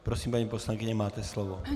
Prosím, paní poslankyně, máte slovo.